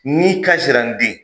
N'i kasira n den